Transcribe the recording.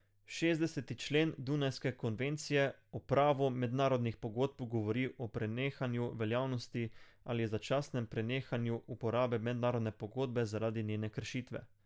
Šestdeseti člen dunajske konvencije o pravu mednarodnih pogodb govori o prenehanju veljavnosti ali začasnem prenehanju uporabe mednarodne pogodbe zaradi njene kršitve.